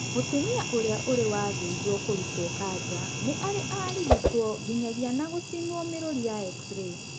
Mũtumia ũrĩa ũrĩ wathĩnjwo kũrutwo kanja nĩ arĩ arigitwo nginyagia na gucinwo mĩrũri ya x-ray